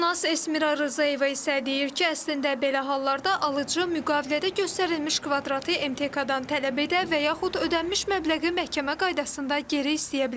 Hüquqşünas Əsmira Rzayeva isə deyir ki, əslində belə hallarda alıcı müqavilədə göstərilmiş kvadratı MTK-dan tələb edə və yaxud ödənilmiş məbləği məhkəmə qaydasında geri istəyə bilər.